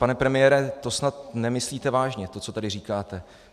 Pane premiére, to snad nemyslíte vážně, to, co tady říkáte.